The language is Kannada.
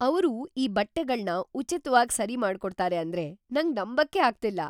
ಅವ್ರು ಈ ಬಟ್ಟೆಗಳ್ನ ಉಚಿತ್ವಾಗ್ ಸರಿ ಮಾಡ್ಕೊಡ್ತಾರೆ ಅಂದ್ರೆ ನಂಗ್ ನಂಬಕ್ಕೇ ಆಗ್ತಿಲ್ಲ!